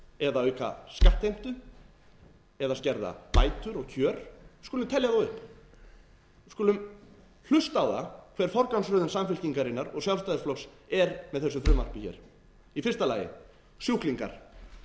eða auka skattheimtu eða skerða bætur og kjör við skulum telja þá upp við skulum hlusta á það hver forgangsröðun samfylkingarinnar og sjálfstæðisflokks er með þessu frumvarpi hér í fyrsta lagi sjúklingar